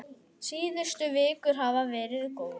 Síðustu vikur hafa verið góðar.